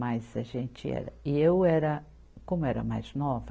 Mas a gente era, e eu era, como era mais nova,